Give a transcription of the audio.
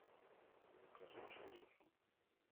закажи пшеницу